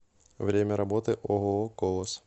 время работы ооо колос